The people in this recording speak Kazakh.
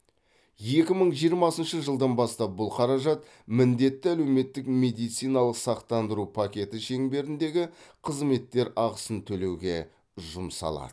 екі мың жиырмасыншы жылдан бастап бұл қаражат міндетті әлеуметтік медициналық сақтандыру пакеті шеңберіндегі қызметтер ақысын төлеуге жұмсалады